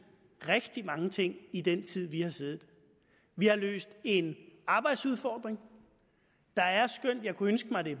rigtig mange ting i den tid vi har siddet vi har løst en arbejdsudfordring der er skønt jeg kunne ønske mig at det